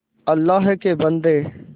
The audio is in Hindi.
अल्लाह के बन्दे